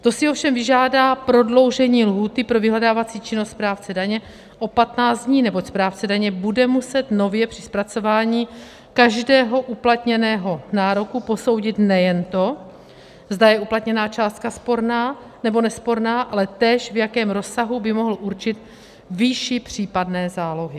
To si ovšem vyžádá prodloužení lhůty pro vyhledávací činnost správce daně o 15 dní, neboť správce daně bude muset nově při zpracování každého uplatněného nároku posoudit nejen to, zda je uplatněná částka sporná, nebo nesporná, ale též v jakém rozsahu by mohl určit výši případné zálohy.